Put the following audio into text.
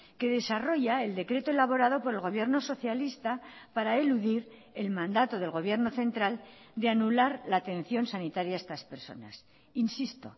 que desarrolla el decreto elaborado por el gobierno socialista para eludir el mandato del gobierno central de anular la atención sanitaria a estas personas insisto